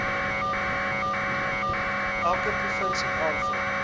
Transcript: elke provinsie aanvra